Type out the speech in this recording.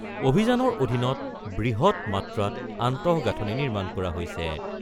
অভিযানৰ অধীনত বৃহৎ মাত্ৰাত আন্তগাঁথনি নিৰ্মাণ কৰা হৈছে।